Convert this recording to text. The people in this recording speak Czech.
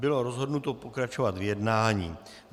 Bylo rozhodnuto pokračovat v jednání.